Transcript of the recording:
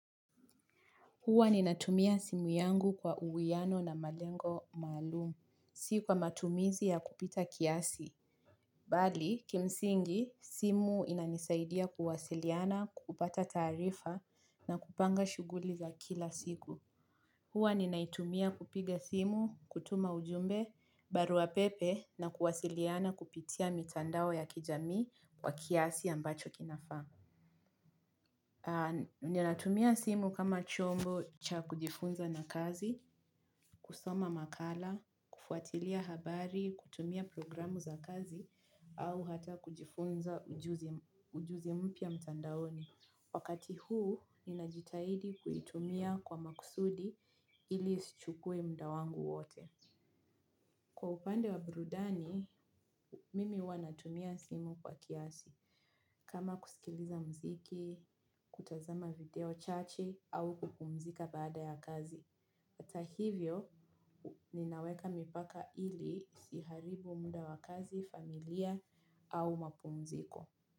Huwa ninatumia simu yangu kwa uwiano na malengo maalum. Sikwa matumizi ya kupita kiasi. Bali, kimsingi, simu inanisaidia kuwasiliana, kupata tarifa na kupanga shuguli za kila siku. Huwa ni naitumia kupiga simu, kutuma ujumbe, baruapepe na kuwasiliana kupitia mitandao ya kijami wa kiasi ambacho kinafaa. Ni natumia simu kama chombo cha kujifunza na kazi, kusoma makala, kufuatilia habari, kutumia programu za kazi au hata kujifunza ujuzi mpya mtandaoni. Wakati huu ni najitahidi kuitumia kwa makusudi ili isichukwe mda wangu wote. Kwa upande wa burudani, mimi huwannatumia simu kwa kiasi. Kama kusikiliza mziki, kutazama video chache au kupumzika baada ya kazi. Atahivyo, ninaweka mipaka ili isiharibu muda wa kazi, familia au mapumziko.